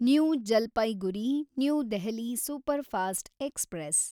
new Jalpaiguri new Delhi superfast express